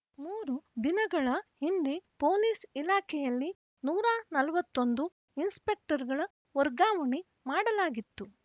ಮೂರು ದಿನಗಳ ಹಿಂದೆ ಪೊಲೀಸ್‌ ಇಲಾಖೆಯಲ್ಲಿ ನೂರ ನಲವತ್ತ್ ಒಂದು ಇನ್ಸ್‌ಪೆಕ್ಟರ್‌ಗಳ ವರ್ಗಾವಣೆ ಮಾಡಲಾಗಿತ್ತು